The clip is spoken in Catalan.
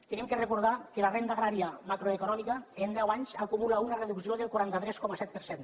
hem de recordar que la renda agrària macroeconòmica en deu anys acumula una reducció del quaranta tres coma set per cent